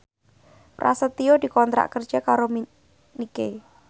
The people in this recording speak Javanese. Prasetyo dikontrak kerja karo Nike